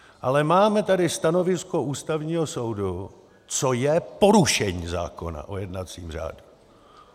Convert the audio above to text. Ale máme tady stanovisko Ústavního soudu, co je porušení zákona o jednacím řádu.